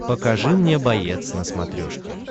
покажи мне боец на смотрешке